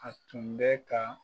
A tun bɛ ka.